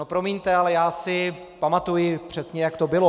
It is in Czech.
No promiňte, ale já si pamatuji přesně, jak to bylo.